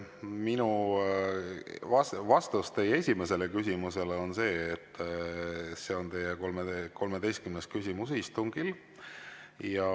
Minu vastus teie esimesele küsimusele on see, et see on teie 13. küsimus istungil.